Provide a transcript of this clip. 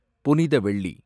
புனித வெள்ளி